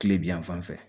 Kile bi yan fan fɛ